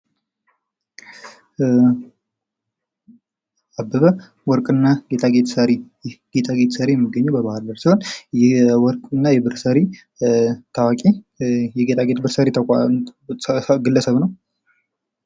አበበ ወርቅና ጌጣጌጥ ሰሪ ይህ ጌጣጌጥ የሚገኘው በባህር ዳር ሲሆን ታዋቂ ጌጣጌጥ ሰሪ ግለሰብ ነው።